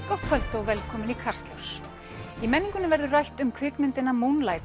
gott kvöld og velkomin í Kastljós í menningunni verður rætt um kvikmyndina